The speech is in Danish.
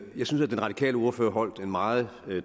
jeg synes at den radikale ordfører holdt en meget